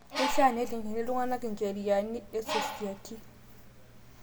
Keishia nelikini ltung'ana ncheriani esosiati